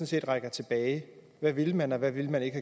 set rækker tilbage hvad ville man og hvad ville man ikke